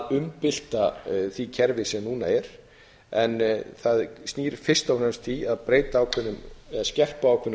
umbylta því kerfi sem núna er en það snýr fyrst og fremst að því að skerpa á ákveðnum grundvallaratriðum sem